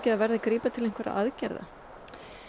það verði að grípa til einhverra aðgerða